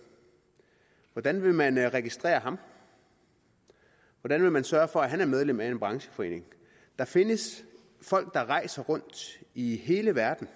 hvordan vil man registrere ham hvordan vil man sørge for at han er medlem af en brancheforening der findes folk der rejser rundt i hele verden